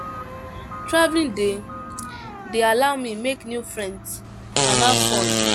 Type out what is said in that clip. Traveling dey dey allow me make new friends and have fun